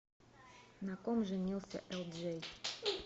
на ком женился элджей